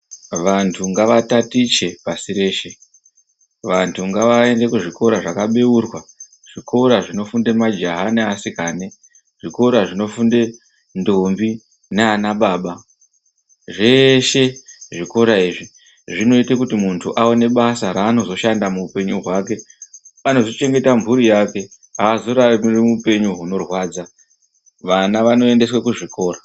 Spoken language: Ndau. Vantu ngavatatiche pashi reshe, vantu ngavaende kuzvikora zvakabeurwa, zvikora zvinofunda majaha neasikana, zvikora zvinofunda ndombi nanababa. Zveshe zvikora izvi zvinoita kuti muntu aone basa raanozoshanda muupenyu hwake. Anozochengeta mhuri yake. Haazorarami hupenyu hunorwadza. Vana ngavaendeswe kuzvikora.